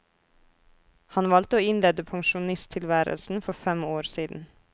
Han valgte å innlede pensjonisttilværelsen for fem år siden.